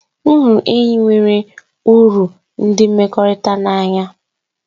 M hụrụ enyi nwere uru ụdị mmekọrịta n'anya.